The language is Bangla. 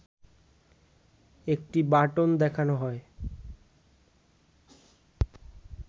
একটি বাটন দেখানো হয়